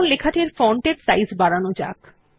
এখন লেখাটির ফন্ট এর সাইজ বাড়ানো যাক